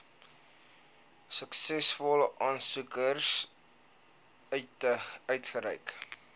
suksesvolle aansoekers uitgereik